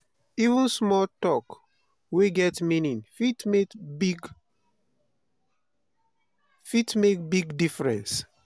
even small tok wey get meaning fit make big fit make big difference.